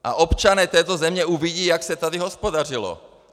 A občané této země uvidí, jak se tady hospodařilo.